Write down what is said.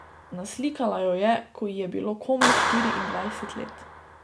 Naslikala jo je, ko ji je bilo komaj štiriindvajset let.